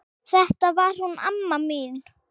Þetta var hún amma mín.